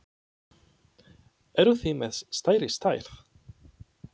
Eruð þið með stærri stærð?